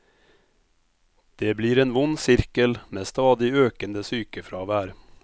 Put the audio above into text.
Det blir en vond sirkel med stadig økende sykefravær.